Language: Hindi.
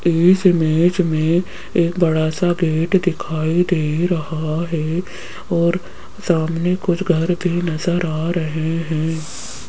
इस इमेज में एक बड़ा सा गेट दिखाई दे रहा है और सामने कुछ घर भी नजर आ रहे हैं।